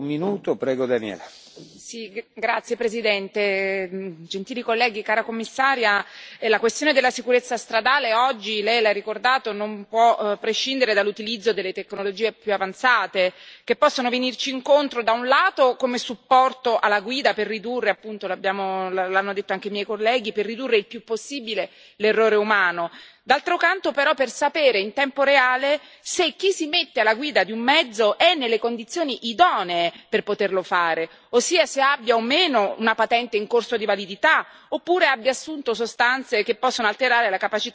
Signor Presidente, onorevoli colleghi, signora Commissario, la questione della sicurezza stradale oggi lei l'ha ricordato non può prescindere dall'utilizzo delle tecnologie più avanzate, che possono venirci incontro, da un lato come supporto alla guida per ridurre l'hanno detto anche i miei colleghi il più possibile l'errore umano, e dall'altro lato per sapere in tempo reale se chi si mette alla guida di un mezzo è nelle condizioni idonee per poterlo fare, ossia se abbia o meno una patente in corso di validità, oppure abbia assunto sostanze che possono alterare la capacità di condurre il veicolo.